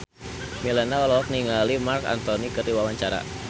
Melinda olohok ningali Marc Anthony keur diwawancara